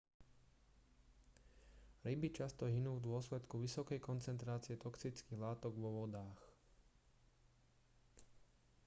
ryby často hynú v dôsledku vysokej koncentrácie toxických látok vo vodách